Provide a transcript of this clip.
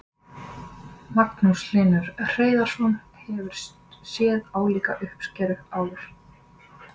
Magnús Hlynur Hreiðarsson: Hefurðu séð álíka uppskeru áður?